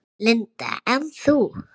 Linda: En þú?